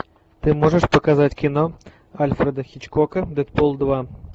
ты можешь показать кино альфреда хичкока дедпул два